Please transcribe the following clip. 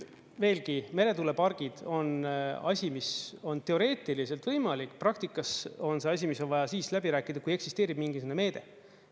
Veelgi, meretuulepargid on asi, mis on teoreetiliselt võimalik, praktikas on see asi, mis on vaja siis läbi rääkida, kui eksisteerib mingisugune meede.